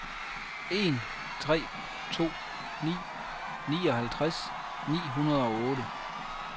en tre to ni nioghalvtreds ni hundrede og otte